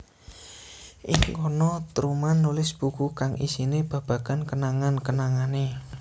Ing kana Truman nulis buku kang isine babagan kenangan kenangane